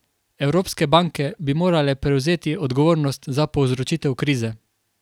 Evropske banke bi morale prevzeti odgovornost za povzročitev krize.